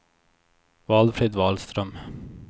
Valfrid Wahlström